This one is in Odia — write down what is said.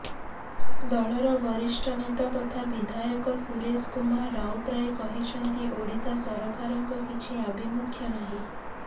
ଦଳର ବରିଷ୍ଠ ନେତା ତଥା ବିଧାୟକ ସୁରେଶ କୁମାର ରାଉତରାୟ କହିଛନ୍ତି ଓଡିଶା ସରକାରଙ୍କ କିଛି ଆଭିମୁଖ୍ୟ ନାହିଁ